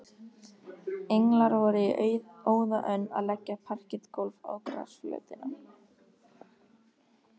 Englar voru í óða önn að leggja parketgólf á grasflötina.